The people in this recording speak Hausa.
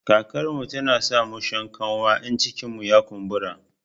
Karkarmu tana sa musha kanwa in cikinmu ya kumbura